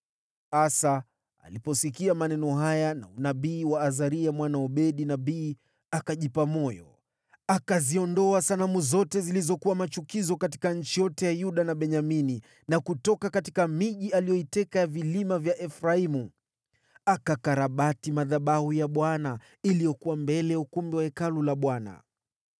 Asa aliposikia maneno haya na unabii wa Azaria mwana wa Odedi nabii, akajipa moyo. Akaziondoa sanamu zote zilizokuwa machukizo katika nchi yote ya Yuda na Benyamini na kutoka miji aliyoiteka ya vilima vya Efraimu. Akakarabati madhabahu ya Bwana iliyokuwa mbele ya ukumbi wa Hekalu la Bwana .